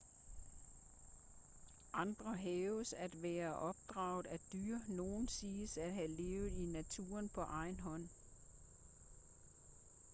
andre hævdes at være opdraget af dyr nogle siges at have levet i naturen på egen hånd